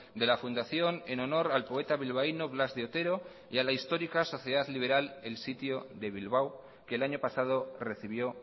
de la fundación en honor al poeta bilbaino blas de otero y a la histórica sociedad liberal el sitio de bilbao que el año pasado recibió